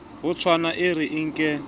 ho tshwana e re nke